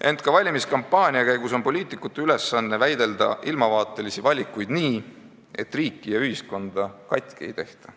Ent ka valimiskampaania käigus on poliitikute ülesanne väidelda ilmavaateliste valikute üle nii, et riiki ja ühiskonda katki ei tehta.